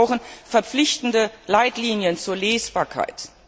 Wir brauchen verpflichtende Leitlinien zur Lesbarkeit.